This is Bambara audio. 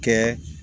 Kɛ